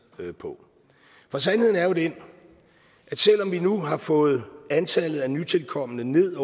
på for sandheden er jo den at selv om vi nu har fået antallet af nytilkomne ned